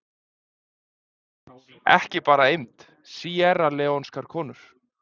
Ekki bara eymd: Síerraleónskar konur.